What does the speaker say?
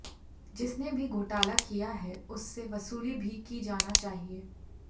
जिसने भी घोटाला किया है उससे वसूली भी की जाना चाहिए